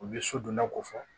U bɛ so donna ko fɔ